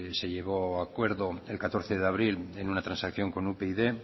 se llegó a acuerdo el catorce de abril en un transacción con upyd